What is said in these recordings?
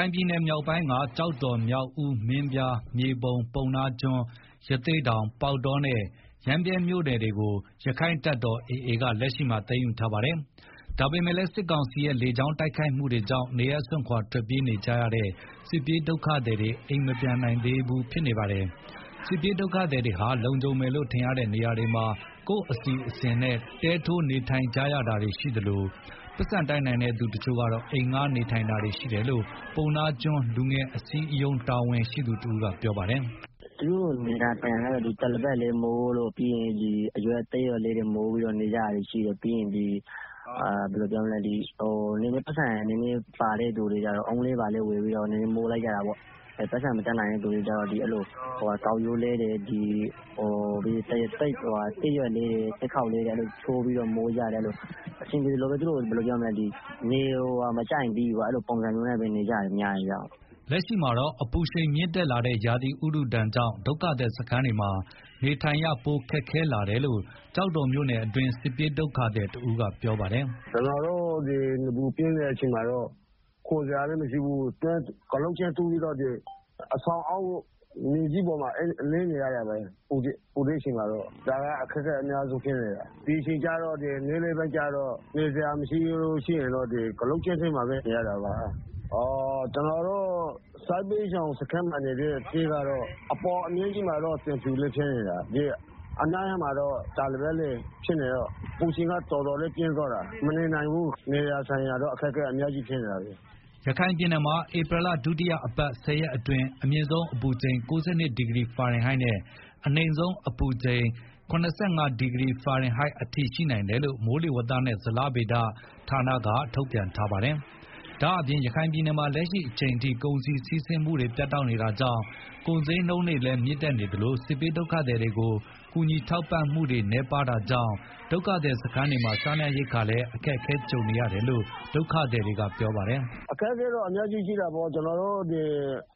ိုင်ပြည်နယ် မြောက်ပိုင်းက ကျောက်တော် မြောက်ဦး မင်းပြား မြေပုံ ပုဏ္ဏားကျွန်း ရသေ့တောင် ပေါက်တောနဲ့ ရမ်းဗြဲ မြို့နယ်တွေ ရက္ခိုင့်တပ်တော်AAက လက်ရှိမှာ သိမ်းယူထားတာပါ။ ဒါပေမယ့်လည်း စစ်ကောင်စီရဲ့ လေကြောင်းတိုက်ခိုက်မှုတွေကြောင့် နေရပ်စွန့်ခွာထွက်ပြေးနေကြတဲ့ စစ်ပြေးဒုက္ခသည်တွေ အိမ်မပြန်နိုင်သေးပါဘူး။ စစ်ပြေးဒုက္ခသည်တွေဟာ လုံခြုံမယ်လို့ထင်ရတဲ့ နေရာတွေမှာ ကိုယ့်အစီအစဉ်နဲ့ တဲထိုးနေထိုင်ကြတာတွေရှိသလို၊ ပိုက်ဆံတတ်နိုင်တဲ့ သူတချို့ကတော့ အိမ်ငှားနေထိုင်တာတွေရှိတယ်လို့ ပုဏ္ဏားကျွန်းလူငယ်အစည်းအရုံး တာဝန်ရှိသူတဦး ကပြောပါတယ်။ “ သူတို့နေကြတာကတော့ တပေါ်လိပ်တွေမိုး၊သစ်ရွက်တွေ မိုးပြီးတော့ နေကြတာရှိ တယ်ပြီးရင် ဘယ်လိုပြောမလဲ ပိုက်ဆံရှိတဲ့သူတွေကလည်း ဓနိတွေဘာတွေ မိုးပြီးတော့ နေကြတယ်၊ ပိုက်ဆံမတတ်နိုင်တဲ့သူတွေကျတော့ ကောက်ရိုးတွေမိုးတယ်၊ သစ်ကိုင်းတွေ ချိုးပြီးတော့ မိုးကြတယ်အဆင်ပြေသလိုပေါ့။ သူတို့နေမကျရင်ပြီးရောအဲလိုပုံစံနဲ့ နေကြရ တာများတယ်။” လက်ရှိမှာ အပူရှိန်မြင့်တက်လာတဲ့ ရာသီဥတုဒဏ်ကြောင့် ဒုက္ခသည်စခန်းတွေမှာ နေထိုင်ရ ပိုခက်ခဲလာတယ်လို့ ကျောက်တော်မြို့နယ်တွင်း စစ်ပြေးဒုက္ခသည်တဦးက ပြောပါတယ်။ “ ကျနော်တို့ နေပူပြင်းတဲ့ အချိန်မှာတော့ ခိုစရာလည်းမရှိဘူး အဆောင်အောက်မှာ ကျင်းတူးပြီးတော့ မြေကြီးပေါ်မှာ လှဲနေရတာပဲ၊ပူတဲ့အချိန်မှာ ဒါကအတော်အခက် အခဲရှိတယ်၊ နေ့လည်ပိုင်းတွေမှာ နေစရာမရှိတော့ ကျင်းထဲမှာပဲ နေရတာပါ။ ကျနော်တို့ စစ်ဘေးရှောင်စခန်းမှာ ရှိတဲ့ တဲတွေကတော့ အပေါ်က သံဖြူနဲ့ တာပေါ်လိပ်ဆိုတော့ အပူချိန်က တော်တော်လေးပြင်းတယ်၊ မနေနိုင်ဘူး နေဖို့ထိုင်ဖို့ အတော်အခက်အခဲဖြစ်နေတယ်။” ရခိုင်ပြည်နယ်မှာ ဧပြီလ ဒုတိယအပတ် ၁ဝရက်အတွင်း အမြင့်ဆုံးအပူချိန် ၉၂ဒီဂရီဖာရင် ဟိုက်နဲ့ အနိမ့်ဆုံးအပူချိန် ၇၅ဒီဂရီဖာရင်ဟိုက်အထိရှိနိုင်တယ်လို့ မိုးလေဝသနဲ့ ဇလဗေဒညွန်ကြားမှု ဦးစီးဌာနက ထုတ်ပြန်ထားပါတယ်။ ဒါ့အပြင် ရခိုင်ပြည်နယ်မှာလက်ရှိအချိန်ထိ ကုန်စည်စီးဆင်းမှုတွေပြတ်တောက်နေတာကြောင့် ကုန်စျေးနှုန်းတွေလည်းမြင့်တက်နေသလို စစ်ဘေးဒုက္ခသည်တွေကို ကူညီထောက်ပံ့မှု တွေနည်းပါးတာကြောင့် ဒုက္ခသည်တွေစခန်းတွေမှာ စားနပ်ရိက္ခာတွေလည်း အခက်ကြုံနေ ရတယ်လို့ ဒုက္ခသည်က ပြောပါတယ်။ “ အခက်အခဲတော့ အများကြီးရှိတာပေါ့ ကျနော်တို့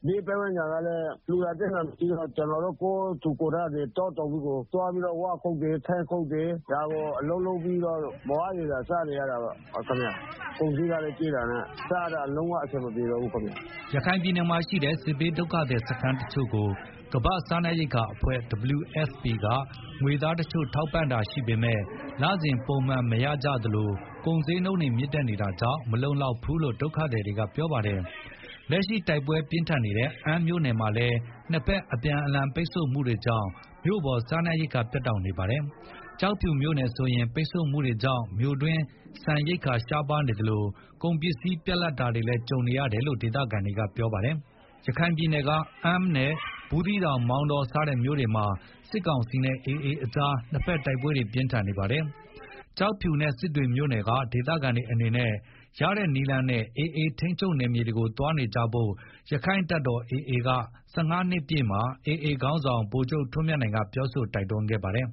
ဘေးပတ်ဝန်းကျင်ကလည်း လှူတာတန်းတာလည်းမရှိဘူး၊ ကျနော်တို့ ကိုယ်ထူကိုယ်ထ တောတောင်းတွေကို သွားပြီးတော့ ဝါးခုတ်တယ် ထင်းခုတ်တယ်၊ ဒီလို အလုပ်လုပ်ပြီးတော့ မလောက်မငှစားနေရတယ်၊ ကုန်စျေးကလည်း ကြီးတာနဲ့ စားရတာ လုံးဝအဆင်မပြေပါဘူးခင်ဗျာ။” ရခိုင်ပြည်နယ်မှာ ရှိတဲ့ စစ်ဘေးဒုက္ခသည်စခန်းတချို့ကို ကမ္ဘာ့စားနပ်ရိက္ခာအဖွဲ့ WFP က ငွေသားတချို့ ထောက်ပံ့တာတချို့ရှိပေမယ့် လစဉ်ပုံမှန်မရရှိကြသလို ကုန်စျေးနှုန်းတွေ မြင့်တက်နေတာကြောင့် မလုံလောက်ဘူးလို့ ဒုက္ခသည်တွေက ပြောဆိုကြပါတယ်။ လက်ရှိတို်က်ပွဲပြင်းထန်နေတဲ့ အမ်းမြို့နယ်မှာလည်း နှစ်ဘက်အပြန်အ လှန်ပိတ်ဆို့မှုတွေကြောင့် မြို့ပေါ် စားနပ်ရိက္ခာပြတ်တောက်နေပါတယ်။ ကျောက်ဖြူမြို့ နယ်ဆိုရင်လည်း ပိတ်ဆို့မှုတွေကြောင့် မြို့တွင်း ဆန်ရိက္ခာရှားပါးနေသလို ကုန်ပစ္စည်းပြတ်လပ်တာတွေလည်း ကြုံနေတယ်လို့ ဒေသခံတွေက ပြောဆိုကြပါတယ်။ ရခိုင်ပြည်နယ်က အမ်းနဲ့ ဘူးသီးတောင် မောင်တော စတဲ့မြို့နယ်တွေမှာ စစ်ကောင်စီနဲ့ AAကြား နှစ်ဘက်တို်က်ပွဲပြင်းထန်နေပါတယ်။ ကျောက်ဖြူနဲ့ စစ်တွေမြို့နယ်က ဒေသခံတွေအနေနဲ့ ရတဲ့နည်းလမ်းနဲ့AAထိန်းချုပ်နယ်မြေတွေကိုသွားနေကြဖို့ ရက္ခိုင့်တပ်တော်AA ၁၅နှစ်ပြည့်မှာ AA ခေါင်းဆောင် ဗိုလ်ချုပ်ထွန်းမြတ်နိုင်က ပြောဆိုတိုက်တွန်းခဲ့ပါတယ်။